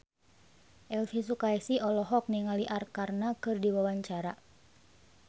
Elvy Sukaesih olohok ningali Arkarna keur diwawancara